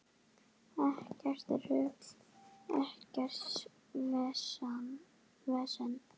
Ekkert rugl, ekkert vesen.